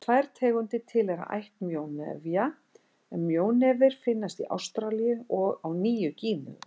Tvær tegundir tilheyra ætt mjónefja en mjónefir finnast í Ástralíu og á Nýju-Gíneu.